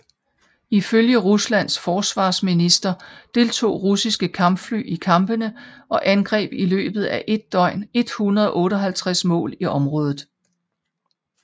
Ifølge Ruslands forsvarsminister deltog russiske kampfly i kampene og angreb i løbet af et døgn 158 mål i området